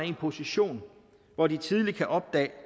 en position hvor de tidligt kan opdage